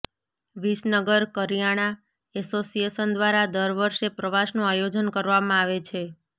વિસનગર કરિયાણા એસોસિએશન દ્વારા દર વર્ષે પ્રવાસનું આયોજન કરવામાં આવે છે